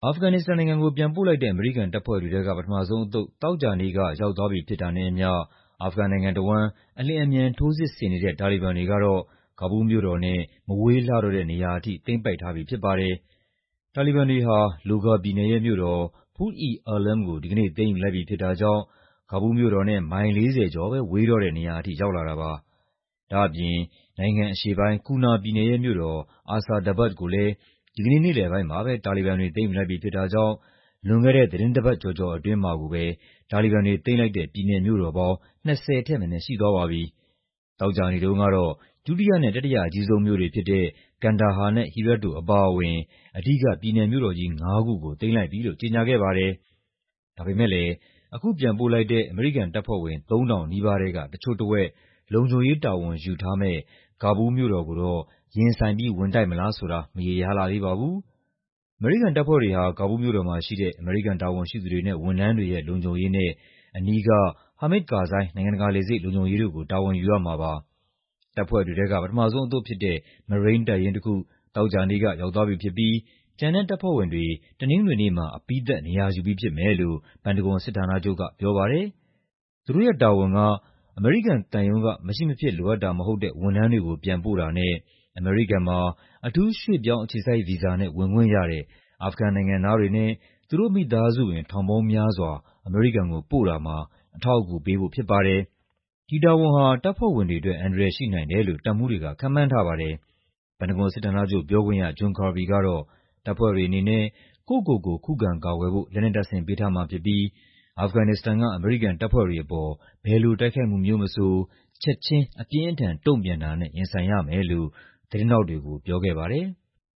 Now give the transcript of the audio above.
အာဖဂန်နစ္စတန်နိုင်ငံကို ပြန်ပို့လိုက်တဲ့ အမေရိကန်တပ်ဖွဲ့တွေထဲက ပထမဆုံးအသုတ် သောကြာနေ့က ရောက်သွားပြီဖြစ်တာနဲ့အမျှ အာဖဂန်နိုင်ငံတဝန်း အလျင် အမြန် ထိုးစစ်ဆင်နေတဲ့ တာလီဘန်တွေကတော့ ကာဘူးလ်မြို့တော်နဲ့ မဝေးလှတော့တဲ့နေရာထိ သိမ်းပိုက်ထားပြီဖြစ်ပါတယ်။ တာလီဘန်တွေဟာ လိုဂါပြည်နယ်ရဲ့မြို့တော် Pul-e-Alam ကို ဒီကနေ့ သိမ်းယူလိုက်ပြီဖြစ်တာကြောင့် ကာဘူးလ်မြို့တော်နဲ့ မိုင် ၄၀ ကျော်ပဲ ဝေးတော့တဲ့နေရာထိ ရောက်လာတာပါ။ ဒါ့အပြင် နိုင်ငံအရှေ့ပိုင်း ကူနာပြည်နယ်ရဲ့မြို့တော် Asadabad ကိုလည်း ဒီကနေ့ နေ့လည်ပိုင်းမှာပဲ တာလီဘန်တွေ သိမ်းယူလိုက်ပြီဖြစ်တာကြောင့် လွန်ခဲ့တဲ့ သီတင်းပတ်တပတ်ကျော်ကျော်အတွင်းမှာကိုပဲ တာလီဘန်တွေသိမ်းလိုက်တဲ့ ပြည်နယ်မြို့တော်ပေါင်း ၂၀ ထက်မနည်းရှိသွားပါပြီ။ သောကြာနေ့တုံးကတော့ ဒုတိယနဲ့ တတိယအကြီးဆုံးမြို့တွေဖြစ်တဲ့ ကန်ဒါဟာနဲ့ ဟီရတ်တို့အပါအဝင် အဓိက ပြည်နယ်မြို့တော်ကြီးငါးခုကို သိမ်းလိုက်ပြီလို့ ကြေညာခဲ့ပါတယ်။ ဒါပေမယ့်လည်း အခုပြန်ပို့လိုက်တဲ့ အမေရိကန်တပ်ဖွဲ့ဝင် ၃,၀၀၀ နီးပါးထဲက တချို့တဝက် လုံခြုံရေး တာဝန်ယူထားမယ့် ကာဘူးလ်မြို့တော်ကို ရင်ဆိုင်ပြီး ဝင်တိုက်မလားဆိုတာကတော့ မရေရာလှသေးပါဘူး။ အမေရိကန်တပ်ဖွဲ့တွေဟာ ကာဘူးလ်မြို့တော်မှာရှိတဲ့ အမေရိကန်တာဝန်ရှိသူတွေနဲ့ ဝန်ထမ်းတွေရဲ့ လုံခြုံရေးနဲ့ အနီးက ဟာမစ်ဒ် ကာဇိုင်း နိုင်ငံတကာလေဆိပ် လုံခြုံရေးတို့ကို တာဝန်ယူရမှာပါ။ တပ်ဖွဲ့တွေထဲက ပထမဆုံးအသုတ်ဖြစ်တဲ့ မရိန်းတပ်ရင်းတခု သောကြာနေ့က ရောက်သွားပြီဖြစ်ပြီး ကျန်တဲ့တပ်ဖွဲ့ဝင်တွေ တနင်္ဂနွေနေ့မှာ အပြီးသတ် နေရာယူပြီးဖြစ်မယ်လို့ ပန်တဂွန်စစ်ဌာနချုပ်က ပြောပါတယ်။ သူတို့ရဲ့တာဝန်က အမေရိကန်သံရုံးက မရှိမဖြစ်လိုအပ်တာမဟုတ်တဲ့ ဝန်ထမ်းတွေကိုပြန်ပို့တာနဲ့ အမေရိကန်မှာ အထူးရွှေ့ပြောင်းအခြေစိုက်ဗီဇာနဲ့ ဝင်ခွင့်ရတဲ့ အာဖဂန်နိုင်ငံသားတွေနဲ့ သူတို့မိသားစုဝင် ထောင်ပေါင်းများစွာ အမေရိကန်ကိုပို့တာမှာ အထောက်အကူပေးဖို့ဖြစ်ပါတယ်။ ဒီတာဝန်ဟာ တပ်ဖွဲ့ဝင်တွေအတွက် အန္တရာယ်ရှိနိုင်တယ်လို့ တပ်မှူးတွေက ခန့်မှန်းထားပါတယ်။ ပန်တဂွန်စစ်ဌာနချုပ်ပြောခွင့်ရ John Kirby ကတော့ တပ်ဖွဲ့တွေအနေနဲ့ ကိုယ့်ကိုယ်ကိုခုခံကာကွယ်ဖို့ လက်နက်တပ်ဆင်ပေးထားမှာဖြစ်ပြီး အာဖဂန်နစ္စတန်က အမေရိကန်တပ်ဖွဲ့တွေအပေါ်ဘယ်လိုတိုက်ခိုက်မှုမျိုးမဆို ချက်ခြင်း အပြင်းအထန် တုံ့ပြန်တာနဲ့ ရင်ဆိုင်ရမယ်လို့ သတင်းထောက်တွေကို ပြောခဲ့ပါတယ်။